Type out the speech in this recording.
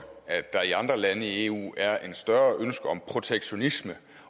at der i andre lande i eu er et større ønske om protektionisme